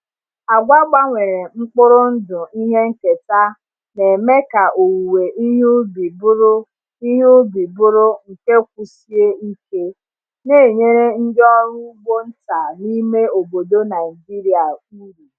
Agwa gbanwere mkpụrụ ndụ ihe nketa na-eme ka owuwe ihe ubi bụrụ ihe ubi bụrụ nke kwụsie ike, na-enyere ndị ọrụ ugbo nta n’ime obodo Naijiria uru.